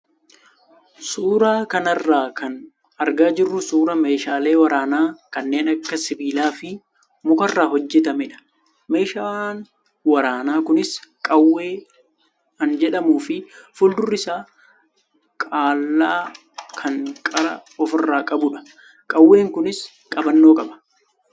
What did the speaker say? Suuraa kanarraa kan argaa jirru suuraa meeshaalee waraanaa kanneen sibiilaa fi mukarraa hojjatamedha. Meeshaan waraanaa kunis qawwee an jedhamuu fi fuuldurri isaa qal'aa kan qara ofirraa qabudha. Qawween kunis qabannoo qaba.